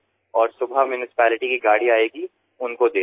পরদিন সকালেপুরসভার ময়লা ফেলার গাড়িতে ওই বর্জ্য পদার্থ ফেলে দিন